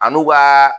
An n'u ka